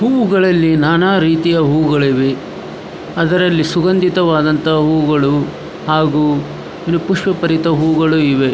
ಹೂವುಗಳಲ್ಲಿ ನಾನಾ ರೀತಿಯ ಹೂವುಗಳಿವೆ. ಅದರಲ್ಲಿ ಸುಗಂಧಿತವಾದಂತಹ ಹೂವುಗಳು ಹಾಗು ಪುಷ್ಪ ಬರಿತ ಹೂವುಗಳು ಇವೆ.